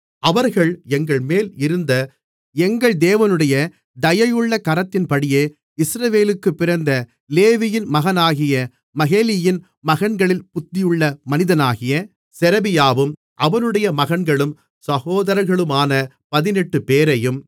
அவர்கள் எங்கள்மேல் இருந்த எங்கள் தேவனுடைய தயையுள்ள கரத்தின்படியே இஸ்ரவேலுக்குப் பிறந்த லேவியின் மகனாகிய மகேலியின் மகன்களில் புத்தியுள்ள மனிதனாகிய செரெபியாவும் அவனுடைய மகன்களும் சகோதரர்களுமான பதினெட்டுப்பேரையும்